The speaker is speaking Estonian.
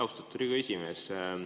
Austatud Riigikogu esimees!